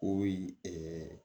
O yi